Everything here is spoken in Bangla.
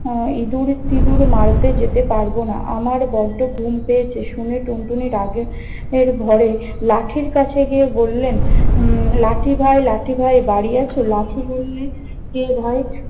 আহ ইদুর-তিদুর মারতে যেতে পারব না। আমার বড্ড ঘুম পেয়েছে। শুনে টুনটুনি রাগের ঘোরে লাঠির কাছে গিয়ে বললেন- উম লাঠি ভাই লাঠি ভাই বাড়ি আছ? লাঠি বললে- কে ভাই?